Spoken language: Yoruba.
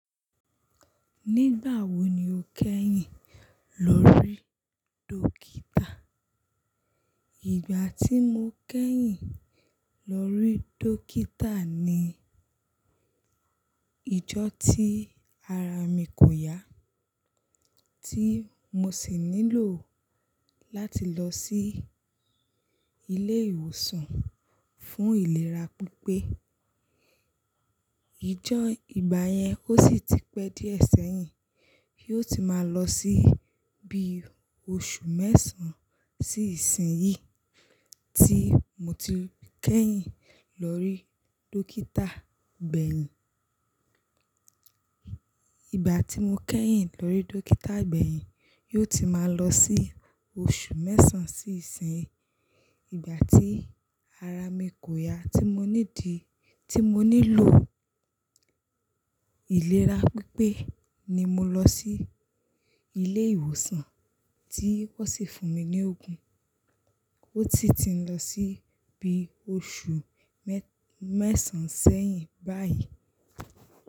Nígbà wo ni o kẹ́yìn lọrí dọkítà? Ìgbà tí mo kẹ́yìn lórí dókítà ni ìjọ́ tí ara mi kò yá, tí mo sì nílò láti lọ sí ilé ìwòsàn fún ìlera pípé. Ìjọ́ ìgbà yẹn ó sì ti pẹ́ díẹ̀ sẹ́yìn, yóò ti máa lọ sí bí oṣù mẹ́sàn-án sí ìsìn yìí tí mo ti kẹ́yìn lọrí dókítà gbẹ̀yìn. Ìgbà tí mo kẹ́yìn lórí dókítà gbẹ̀yìn, yóò ti máa lọ sí oṣù mẹ́sàn-án sí ìsìn. Ìgbà tí ara mi kò ya tí mo ní di-- tí mo nílò ìlera pípé ni mo lọ sí ilé ìwòsàn tí wọ́n sì fún mi ní ògùn. Ó si ti ń lọ sí bí oṣù mẹ́sàn-án sẹ́yìn báyìí.